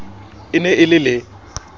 e ne e le le